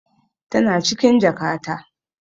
Tana cikin jakata.